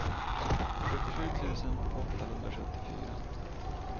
sjuttiosju tusen åttahundrasjuttiofyra